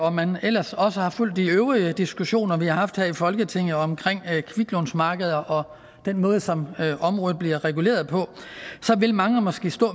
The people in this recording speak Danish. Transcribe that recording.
og man ellers også har fulgt de øvrige diskussioner vi har haft her i folketinget omkring kviklånsmarkedet og den måde som området bliver reguleret på så vil mange måske stå